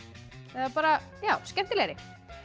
eða bara já skemmtilegri